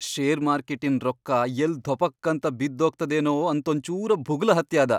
Share ಮಾರ್ಕೆಟಿನ್ ರೊಕ್ಕಾ ಯಲ್ಲ್ ಧೊಪಕ್ ಅಂತ ಬಿದ್ದೋಗ್ತದೇನೋ ಅಂತೊಂಚೂರ ಭುಗಲ ಹತ್ಯಾದ.